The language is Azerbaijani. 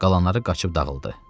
Qalanları qaçıb dağıldı.